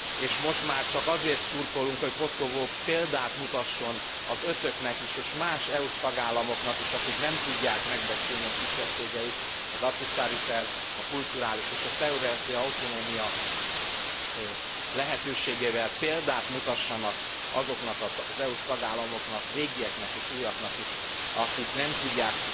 És most már csak azért szurkolunk, hogy Koszovó példát mutasson az ötöknek is és más EU s tagállamoknak is, amelyek nem tudják megbecsülni a kisebbségeiket. Az Ahtisaari terv, a kulturális és a területi autonómia lehetőségével példát mutasson azoknak az EU s tagállamoknak régieknek és újaknak is amelyek nem tudják